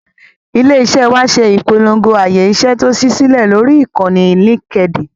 Ilé-iṣẹ́ wa ṣe ìpolongo ààyè iṣẹ́ tó ṣí sílẹ̀ lórí ìkànnì Linkedin.